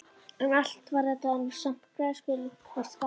En allt var þetta nú samt græskulaust gaman.